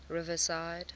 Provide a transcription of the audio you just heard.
riverside